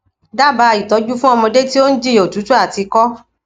dábàá ìtọjú fún ọmọdé tí ó ń jìyà òtútù àti ìkọ